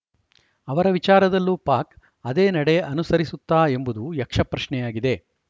ಅವರ ವಿಚಾರದಲ್ಲೂ ಪಾಕ್‌ ಅದೇ ನಡೆ ಅನುಸರಿಸುತ್ತಾ ಎಂಬುದು ಯಕ್ಷಪ್ರಶ್ನೆಯಾಗಿದೆ